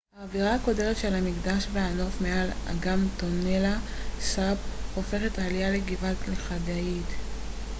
האווירה הקודרת של המקדש והנוף מעל אגם טונלה סאפ הופכים את העלייה לגבעה לכדאית